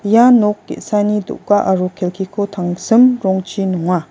ia nok ge·sani do·ga aro kelkiko tangsim rongchi nonga.